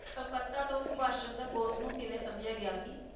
ਕਲਕੱਤਾ ਤੋਂ ਸੁਭਾਸ਼ ਚੰਦਰ ਬੋਸ ਨੂੰ ਕਿਵੇਂ ਸਮਝਿਆ ਗਿਆ ਸੀ?